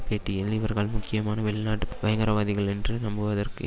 பேட்டியில் இவர்கள் முக்கியமாக வெளிநாட்டு பயங்கரவாதிகளென்று நம்புவதற்கு